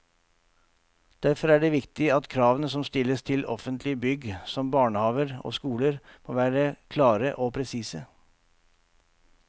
Derfor er det viktig at kravene som stilles til offentlige bygg som barnehaver og skoler, må være klare og presise.